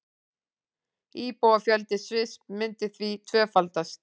Íbúafjöldi Sviss myndi því tvöfaldast